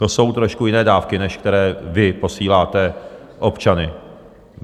To jsou trošku jiné dávky, než které vy posíláte... občany.